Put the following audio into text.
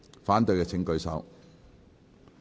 反對的請舉手。